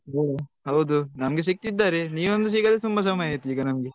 ಹೊ ಹೌದು ನಮ್ಗೆ ಸಿಕ್ಕಿದ್ದಾರೆ ನಿನ್ ಒಂದು ಸಿಗದೇ ಸುಮಾರ್ ಸಮಯ ಆಯ್ತು ಈಗ ನಮ್ಗೆ.